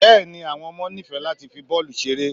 bẹẹni awọn ọmọ nifẹ latí fí bọọlu ṣeré